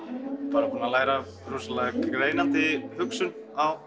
bara búinn að læra rosalega greinandi hugsun á